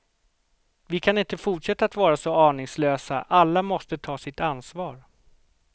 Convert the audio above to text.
Vi kan inte fortsätta att vara så aningslösa, alla måsta ta sitt ansvar.